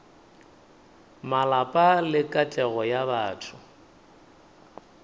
malapa le katlego ya batho